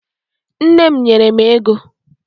Nne m nyere m ego